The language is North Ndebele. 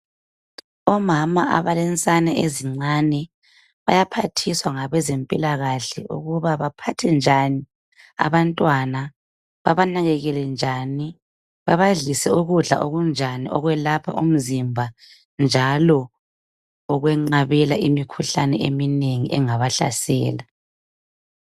Omama abalensane ezincane bayaphathiswa ngabezempilakahle ukuba baphathe njani abantwana babanakakele njani , babadlise ukudla okunjani okwelapha umzimba njalo okwenqabela imikhuhlane engabahlasela